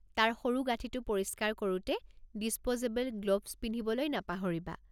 তাৰ সৰুগাঁঠিঁটো পৰিষ্কাৰ কৰোতে ডিছপ'জেবল গ্লোভছ পিন্ধিবলৈ নাপাহৰিবা।